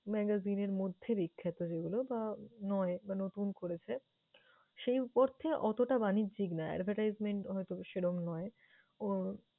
magazine এর মধ্যে বিখ্যাত যেগুলো বা নয় বা নতুন করেছে, সেই অর্থে অতটা বাণিজ্যিক না, advertisement হয়তো বা সেরকম নয়। ওর